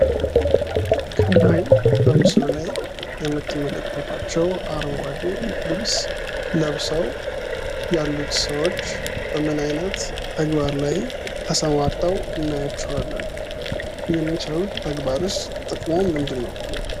ከላይ በምስሉ ላይ የምትመለከቷቸው አረንጓዴ ልብስ ለብሰው ያሉት ሰዎች በምን አይነት ተግባር ላይ ተሰማርተው እናያቸዋለን? የሚሰሩት ተግባርስ ጥቅሙ ምንድን ነው?